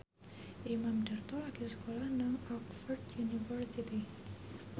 Imam Darto lagi sekolah nang Oxford university